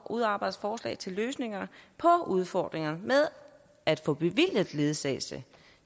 udarbejde forslag til løsninger på udfordringerne med at få bevilget ledsagelse